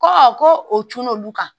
Ko ko o tunun olu kan